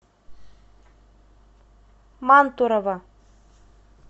мантурово